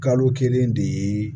Kalo kelen de ye